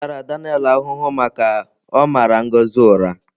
M tara Daniel ahụhụ maka ọ mara Ngozi ụra